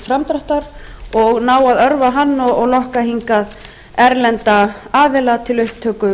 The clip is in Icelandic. framdráttar og ná að örva hann og lokka hingað erlenda aðila til upptöku